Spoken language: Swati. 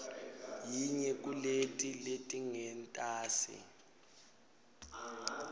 yinye kuleti letingentasi